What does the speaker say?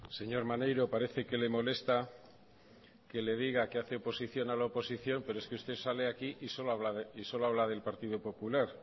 señor maneiro parece que le molesta que le diga que hace oposición a la oposición pero es que usted sale aquí y solo habla del partido popular